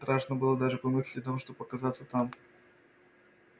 страшно было даже помыслить о том чтобы показаться там